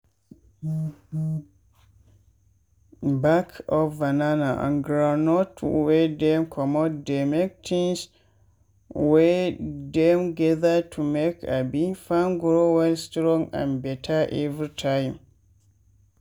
back of banana and groundnut wey dem comot dey make tins wey dem gather to make abi farm grow well strong and better every time.